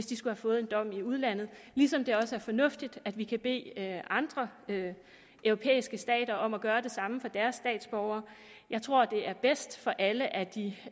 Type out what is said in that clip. de har fået en dom i udlandet ligesom det også er fornuftigt at vi kan bede andre europæiske stater om at gøre det samme for deres statsborgere jeg tror det er bedst for alle at de